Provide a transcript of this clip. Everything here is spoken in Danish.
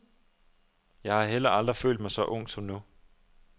Jeg har heller aldrig følt mig så ung som nu.